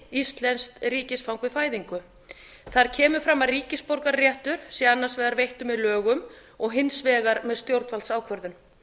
íslenskt ríkisfang við fæðingu þar kemur fram að ríkisborgararéttur sé annars vegar veittur með lögum og hins vegar með stjórnvaldsákvörðun